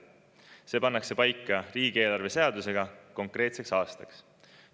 See pannakse paika riigieelarve seadusega konkreetseks aastaks.